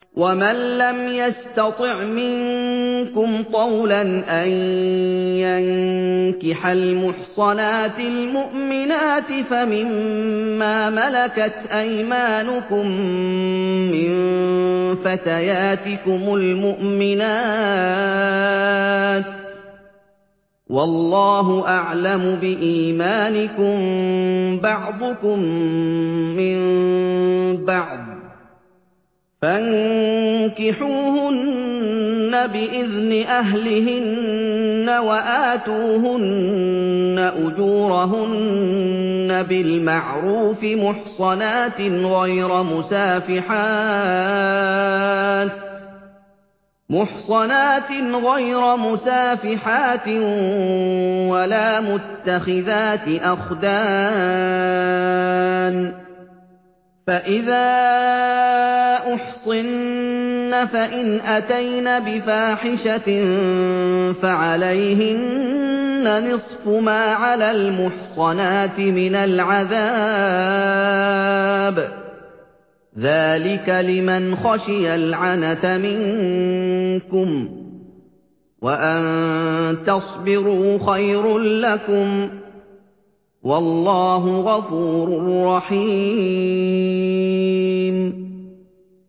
وَمَن لَّمْ يَسْتَطِعْ مِنكُمْ طَوْلًا أَن يَنكِحَ الْمُحْصَنَاتِ الْمُؤْمِنَاتِ فَمِن مَّا مَلَكَتْ أَيْمَانُكُم مِّن فَتَيَاتِكُمُ الْمُؤْمِنَاتِ ۚ وَاللَّهُ أَعْلَمُ بِإِيمَانِكُم ۚ بَعْضُكُم مِّن بَعْضٍ ۚ فَانكِحُوهُنَّ بِإِذْنِ أَهْلِهِنَّ وَآتُوهُنَّ أُجُورَهُنَّ بِالْمَعْرُوفِ مُحْصَنَاتٍ غَيْرَ مُسَافِحَاتٍ وَلَا مُتَّخِذَاتِ أَخْدَانٍ ۚ فَإِذَا أُحْصِنَّ فَإِنْ أَتَيْنَ بِفَاحِشَةٍ فَعَلَيْهِنَّ نِصْفُ مَا عَلَى الْمُحْصَنَاتِ مِنَ الْعَذَابِ ۚ ذَٰلِكَ لِمَنْ خَشِيَ الْعَنَتَ مِنكُمْ ۚ وَأَن تَصْبِرُوا خَيْرٌ لَّكُمْ ۗ وَاللَّهُ غَفُورٌ رَّحِيمٌ